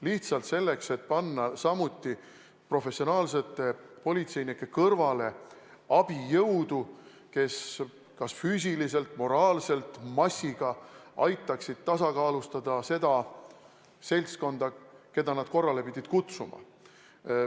Lihtsalt selleks, et kasutada professionaalsete politseinike kõrval abijõudu, kes massiga kas füüsiliselt või moraalselt aitaksid tasakaalustada seda seltskonda, keda nad korrale pidid kutsuma.